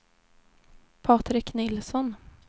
Patrik Nilsson